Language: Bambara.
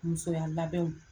Musoya labɛnw.